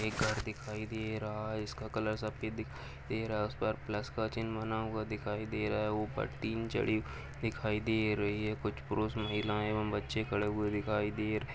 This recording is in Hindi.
एक घर दिखाई दे रहा है जिसका कलर सफ़ेद दिखाई रहा है प्लस का चिन्ह बना हुआ है दिखाई दे रहा है ऊपर तीन चड़ी दिखाई दे रही है कुछ परुष महिलाएं एवं बच्चे खड़े हुए दिखाई दे रहे --